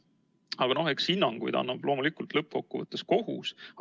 Aga noh, eks hinnanguid annab lõppkokkuvõttes kohus.